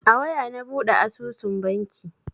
A waya na buɗe asusun banki.